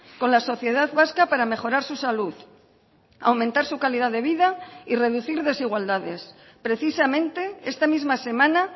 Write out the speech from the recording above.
con la sociedad vasca para mejorar su salud aumentar su calidad de vida y reducir desigualdades precisamente esta misma semana